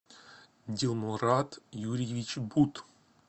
дилмурат юрьевич бут